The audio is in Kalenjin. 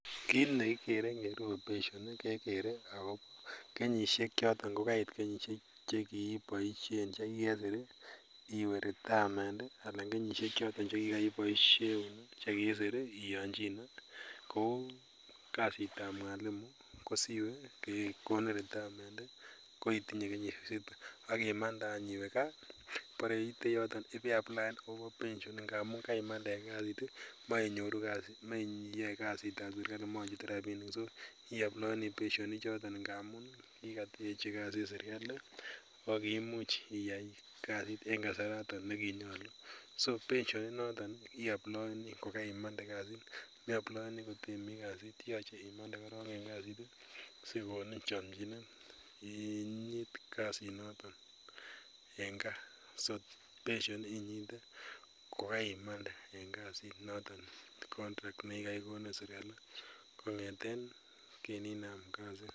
Kit nekikuren kele I outpatient kekere Ako kenyisiek choton chekii kesir iwe retirement anan kenyisiek choto chekikiboisien chekikisir iyachine kouu, kasitab mwalimu agimande iwe kaa bore iite yoton ih ibechut ngamun karimande en kasit ih ibenyoru , maiyae kasitab serkali machutu rabinik so iwee apply pension ichoto amuun kikateachi kasit serkali kokiimuch iyai kasit en kasaraton nekinyolu, so iwe apply pension ichoto kotemi kasit ih sikokonin chamchinet inyit kasit noton en kaa so pension invite kokaimande en kasit noton kikonin serkali kong'eten inam kasit